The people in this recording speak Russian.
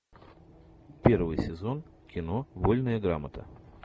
первый сезон кино вольная грамота